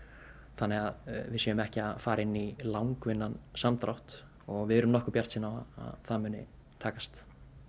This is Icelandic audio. þannig við séum ekki að fara inn í langvinnan samdrátt og við erum nokkuð bjartsýn að það muni takast